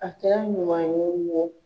A kɛra ɲuman ye